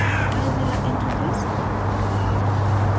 filezilla interface